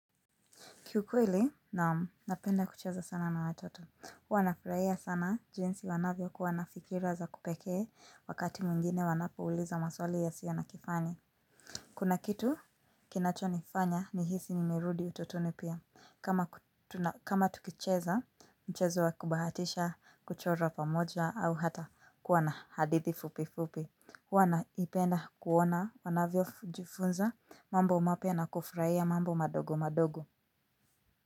Kiukweli naam napenda kucheza sana na watoto. Huwana furahia sana jinsi wanavyokuwa na fikira za kupekee wakati mwingine wanapouliza maswali yasio na kifani. Kuna kitu kinachonifanya nihisi nimerudi utotoni pia kama kama tukicheza, mchezo wa kubahatisha, kuchora pamoja au hata kuwa na hadithi fupi fupi. Huwa naipenda kuona wanavyojifunza mambo mapya na kufurahia mambo madogo madogo.